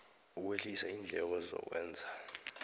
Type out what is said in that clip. ukwehlisa iindleko zokwenza